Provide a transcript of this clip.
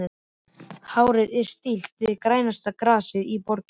Hárið er í stíl við grænasta grasið í borginni.